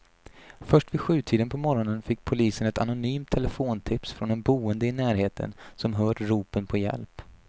Först vid sjutiden på morgonen fick polisen ett anonymt telefontips från en boende i närheten som hört ropen på hjälp.